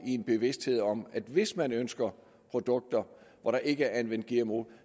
i en bevidsthed om at hvis man ønsker produkter hvor der ikke er anvendt gmo